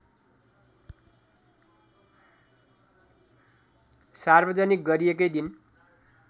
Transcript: सार्वजनिक गरिएकै दिन